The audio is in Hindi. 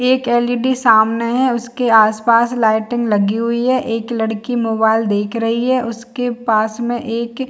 एक एल. इ. डी सामने है उसके आसपास लाइटिंग लगी हुई है एक लड़की मोबाइल देख रही है उसके पास में एक --